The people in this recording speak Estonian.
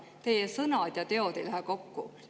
Teie sõnad ja teod ei lähe kokku.